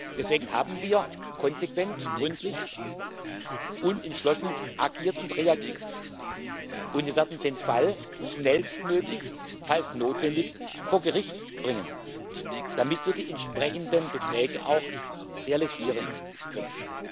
Deswegen haben wir konsequent, gründlich und entschlossen agiert und reagiert, und wir werden den Fall falls notwendig schnellstmöglich vor Gericht bringen, damit wir die entsprechenden Beträge auch realisieren können.